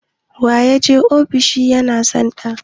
waye ya je ofishin ' yansanda?